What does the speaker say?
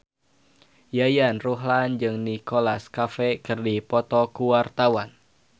Yayan Ruhlan jeung Nicholas Cafe keur dipoto ku wartawan